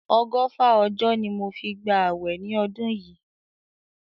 Ọgọ́fà ọjọ́ ni mo fi gba àwẹ̀ ni ọdún yìí.